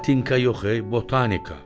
Patinka yox e, botanika.